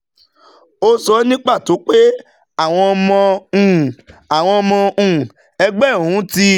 Ó sọ ní pàtó pé àwọn ọmọ um àwọn ọmọ um ẹgbẹ́ òun ti